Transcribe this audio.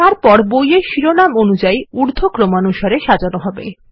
তারপর বইয়ের শিরোনাম অনুযায়ী উর্ধক্রমানুসারে সাজানো হবে